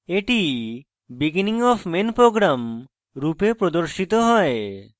এটি beginning of main program রূপে প্রদর্শিত হয়